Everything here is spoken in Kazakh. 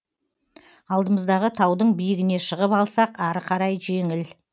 алдымыздағы таудың биігіне шығып алсақ ары қарай жеңіл